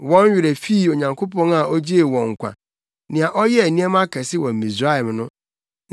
Wɔn werɛ fii Onyankopɔn a ogyee wɔn nkwa, nea ɔyɛɛ nneɛma akɛse wɔ Misraim no,